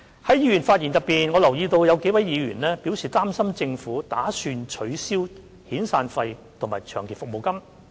在議員的發言中，我留意到有幾位議員表示擔心政府打算取消遣散費及長期服務金。